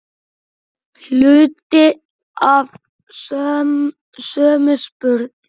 Hluti af sömu spurn.